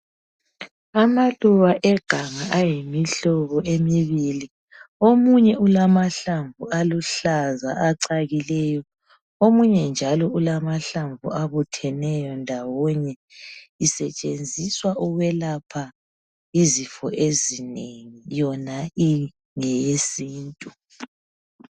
Amaluba eganga ayimihlobo emibili. Omunye ulamahlamvu aluhlaza acakileyo, omunye njalo ulamahlamvu abutheneyo ndawonye. Isetshenziswa ukwelapha izifo ezinengi, yona ingeyesintu.